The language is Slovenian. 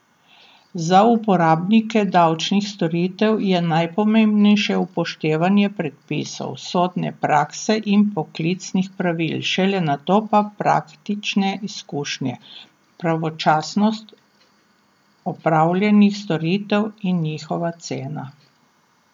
Za uporabnike davčnih storitev je najpomembnejše upoštevanje predpisov, sodne prakse in poklicnih pravil, šele nato pa praktične izkušnje, pravočasnost opravljenih storitev in njihova cena.